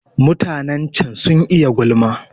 Mutanen can sun iya gulma